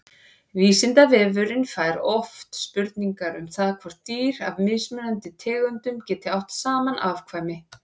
Vísindavefurinn fær oft spurningar um það hvort dýr af mismunandi tegundum geti átt saman afkvæmi.